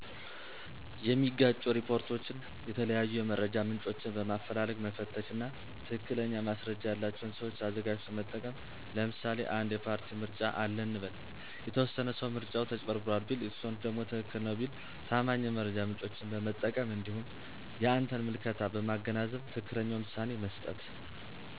የሚጋጩ ሪፖርቶችን የተለያዩ የመረጃ ምንጮችን በማፈላለግ መፈተሽ እና ትክክለኛ ማስረጃ ያለቸውን ሰዎች አዘጋጅቶ መጠቀም ለምሳሌ አንድ የፓርቲ ምርጫ አለ እንበል፤ የተወሰነ ሰው ምርጫው ተጭበርብሯል ቢል የተወሰኑት ደግሞ ትክክል ነው ቢሉ ታማኝ የመረጃ ምንጮችን በመጠቀም እንዲሁም የአንተን ምልከታ በማገናዘብ ትክክለኛውን ውሳኔ መስጠት።